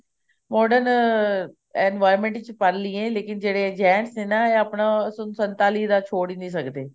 modern environment ਚ ਪਲ ਲਈਏ ਜਿਹੜੇ gents ਨੇ ਇਹ ਆਪਣਾ ਸਨ ਸੰਤਾਲੀ ਦਾ ਛੋੜ ਹੀ ਨੀ ਸਕਦੇ